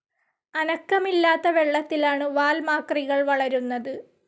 അനക്കമില്ലാത്ത വെള്ളത്തിലാണ് വാൽമാക്രികൾ വളരുന്നത്.